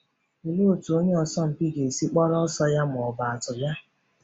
Olee otú onye asọmpi ga-esi kpọrọ ọsọ ya ma ọ bụ atụ ya?.